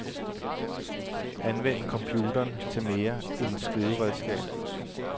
Anvend computeren til mere end skriveredskab.